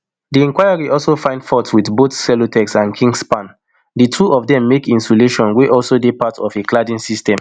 di inquiry also find fault wit both celotex and kingspan di two of dem make insulation wey also dey part of a cladding system